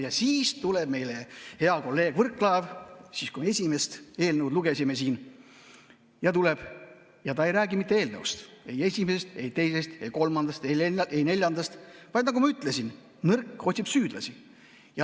Ja siis tuleb meie ette hea kolleeg Mart Võrklaev, kui me esimest eelnõu lugesime, ja ta ei räägi mitte eelnõust, ei esimesest, ei teisest, ei kolmandast, ei neljandast, vaid, nagu ma ütlesin, nõrk otsib süüdlasi.